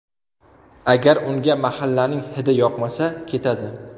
Agar unga mahallaning ‘hidi’ yoqmasa, ketadi.